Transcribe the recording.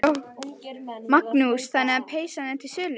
Magnús: Þannig að peysan er til sölu?